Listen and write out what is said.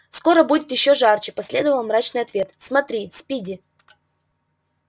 скоро будет ещё жарче последовал мрачный ответ смотри спиди